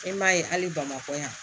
E m'a ye hali bamakɔ yan